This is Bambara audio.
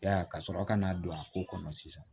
Ya ka sɔrɔ ka n'a don a ko kɔnɔ sisan